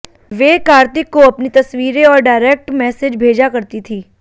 वे कार्तिक को अपनी तस्वीरें और डायरेक्ट मैसेज भेजा करती थीं